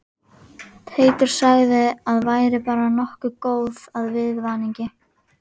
Teitur sagði að væri bara nokkuð góð af viðvaningi